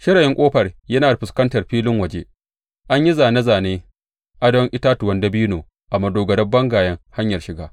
Shirayin ƙofar yana fuskantar filin waje; an yi zāne zānen adon itatuwan dabino a madogarar bangayen hanyar shiga.